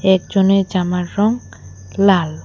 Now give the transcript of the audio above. একজনের জামার রংক লাল।